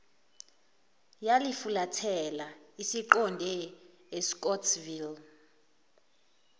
yalifulathela isiqonde escottsville